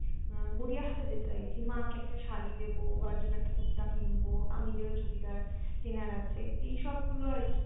আহ গড়িয়াহাটে যেতে চাইছি মাকে একটা শাড়ী দেবো বাবার জন্য একটা কুর্তা কিনবো আমি নিজেও চুড়িদার কেনার আছে এই সব গুলো আরকি